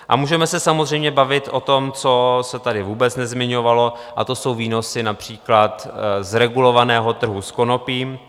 A můžeme se samozřejmě bavit o tom, co se tady vůbec nezmiňovalo, a to jsou výnosy například z regulovaného trhu s konopím.